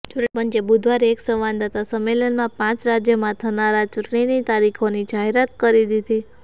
ચૂંટણી પંચે બુધવારે એક સંવાદદાતા સંમેલનમાં પાંચ રાજ્યોમાં થનારા ચૂંટણીની તારીખોની જાહેરાત કરી દીધી